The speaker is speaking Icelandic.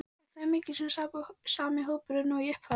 Er þetta þá mikið sami hópurinn og í upphafi?